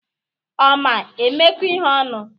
Ọ ma-emekọ ihe ọnụ?